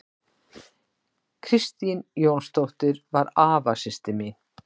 Kristín Jónsdóttir var afasystir mín.